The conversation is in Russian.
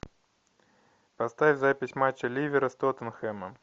поставь запись матча ливера с тоттенхэмом